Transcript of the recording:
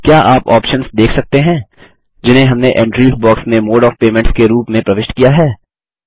क्या आप ऑप्शन्स देख सकते हैं जिन्हें हमने एंट्रीज बॉक्स में मोड ऑफ़ पेमेंट्स के रूप में प्रविष्ट किया है